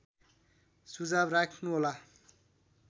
सुझाव राख्नुहोला